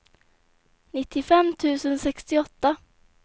nittiofem tusen sextioåtta